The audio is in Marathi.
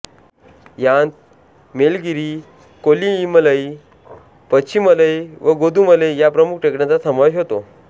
यांत मेलगिरी कोल्लिइमलई पछिमलई व गोदुमलई या प्रमुख टेकड्यांचा समावेश होतो